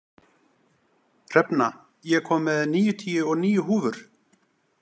Hrefna, ég kom með níutíu og níu húfur!